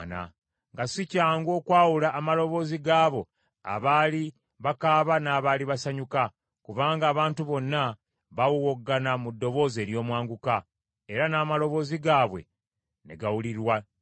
nga si kyangu okwawula amaloboozi g’abo abaali bakaaba n’abaali basanyuka, kubanga abantu bonna baawowogana mu ddoboozi ery’omwanguka, era n’amaloboozi gaabwe ne gawulirwa wala.